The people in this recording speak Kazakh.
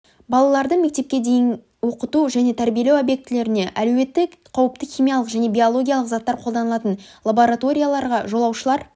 балаларды мектепке дейін оқыту және тәрбиелеу объектілеріне әлеуетті қауіпті химиялық және биологиялық заттар қолданылатын лабораторияларға жолаушылар